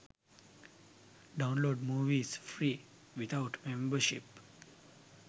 download movies free without membership